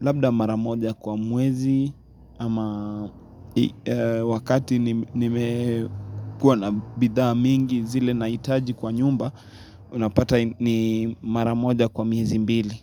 Labda maramoja kwa mwezi ama wakati nimekuwa na bidhaa mingi zile nahitaji kwa nyumba Unapata ni maramoja kwa meizi mbili.